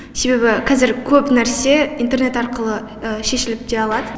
себебі қазір көп нәрсе интернет арқылы шешіліп те алады